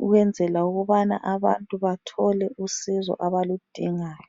ukwenzela ukubana abantu bathole usizo abaludingayo.